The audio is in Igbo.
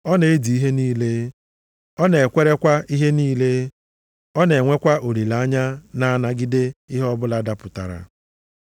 Ọ na-edi ihe niile, ọ na-ekwerekwa ihe niile, ọ na-enwekwa olileanya na-anagide ihe ọbụla dapụtara.